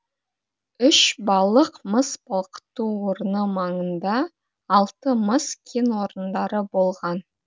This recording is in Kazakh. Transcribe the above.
үшбалық мыс балқыту орны маңында алты мыс кен орындары болған